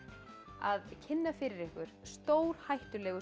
að kynna fyrir ykkur stórhættulegu